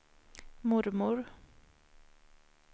mormor